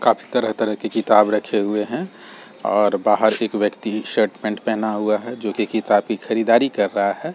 काफी तरह-तरह के किताब रखे हुए हैं और बाहर एक व्यक्ति शर्ट पैंट पहना हुआ है जो कि किताब की खरीदारी कर रहा है।